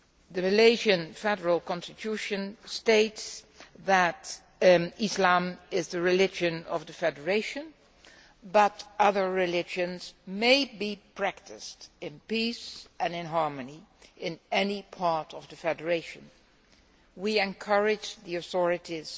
The Malaysian Federal Constitution states that Islam is the religion of the Federation but other religions may be practised in peace and in harmony in any part of the Federation. We encourage the authorities